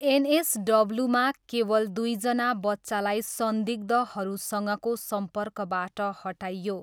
एनएसडब्ल्यूमा केवल दुईजना बच्चालाई संदिग्धहरूसँगको सम्पर्कबाट हटाइयो।